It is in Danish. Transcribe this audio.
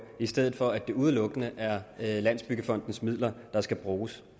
i stedet for at det udelukkende er landsbyggefondens midler der skal bruges